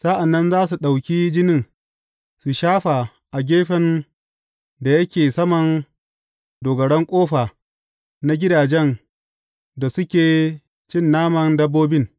Sa’an nan za su ɗauki jinin, su shafa a gefen da yake saman dogaran ƙofa na gidajen da suke cin naman dabbobin.